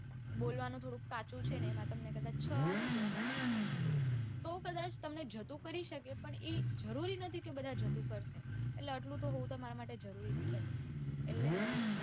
બોલવાનું થોડું કાચું છે ને એમાં તમને કદાચ છ આવી ગયા તો કદાચ તમને જતું કરી શકે પણ એ જરૂરી નથી કે બધા જતું કરશે એટલે તામર માટે જરૂરી જ છે એટલે